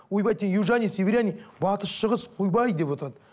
ойбай ты южанин северянин батыс шығыс ойбай деп отырады